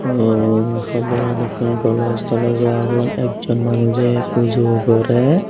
emm hoda aro ekkan golos tolos ow agon ekjon manuje pujo gorer.